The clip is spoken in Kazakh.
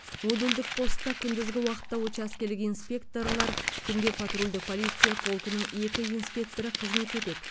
модульдік постта күндізгі уақытта учаскелік инспекторлар түнде патрульдік полиция полкінің екі инспекторы қызмет етеді